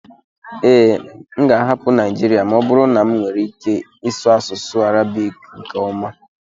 ee, m ga-ahapụ Naijiria ma ọ bụrụ na m nwee ike ịsụ asụsụ Arabic nke ọma